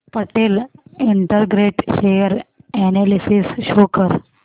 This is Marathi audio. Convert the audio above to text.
Patel integrate share analysis show कर